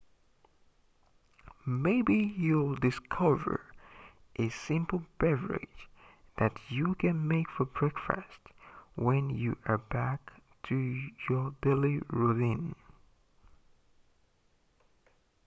maybe you'll discover a simple beverage that you can make for breakfast when you're back to your daily routine